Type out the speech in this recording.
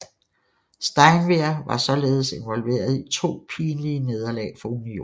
Steinwehr var således involveret i to pinlige nederlag for Unionen